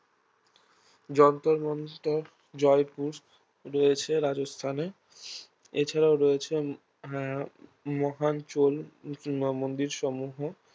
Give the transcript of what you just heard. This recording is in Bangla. যন্তর মন্তর জয়পুর রয়েছে রাজস্থানে এছাড়াও রয়েছে হ্যাঁ মহান চোল উম মন্দিরসমূহ